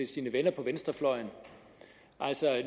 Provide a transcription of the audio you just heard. sine venner på venstrefløjen altså